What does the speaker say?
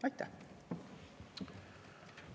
Aitäh!